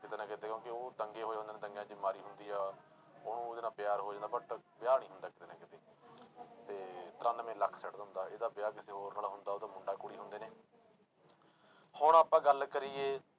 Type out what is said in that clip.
ਕਿਤੇ ਨਾ ਕਿਤੇ ਉਹ ਦੰਗੇ ਹੋਏ ਹੁੰਦੇ ਨੇ ਦੰਗਿਆਂ ਦੀ ਮਾਰੀ ਹੁੰਦੀ ਆ ਉਹਨੂੰ ਉਹਦੇ ਨਾਲ ਪਿਆਰ ਹੋ ਜਾਂਦਾ but ਵਿਆਹ ਨੀ ਹੁੰਦਾ ਕਿਤੇ ਨਾ ਕਿਤੇ ਤੇ ਤਰਾਨਵੇਂ ਲੱਖ ਸੁੱਟ ਦਿੰਦਾ ਇਹਦਾ ਵਿਆਹ ਕਿਸੇ ਹੋਰ ਨਾਲ ਹੁੰਦਾ, ਉਹਦਾ ਮੁੰਡਾ ਕੁੜੀ ਹੁੰਦੇ ਨੇ ਹੁਣ ਆਪਾਂ ਗੱਲ ਕਰੀਏ